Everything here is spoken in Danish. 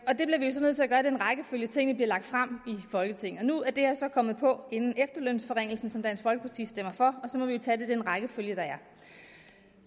rækkefølge tingene bliver lagt frem i folketinget nu er det her så kommet på inden efterlønsforringelsen som dansk folkeparti stemmer for og så må vi jo tage det i den rækkefølge der er